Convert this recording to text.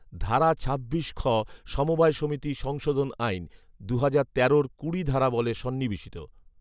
ধারা ছাব্বিশ খ সমবায় সমিতি সংশোধন আইন, দুহাজার তেরোর কুড়ি ধারাবলে সন্নিবেশিত